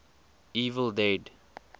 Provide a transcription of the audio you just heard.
evil dead